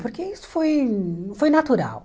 Porque isso foi foi natural.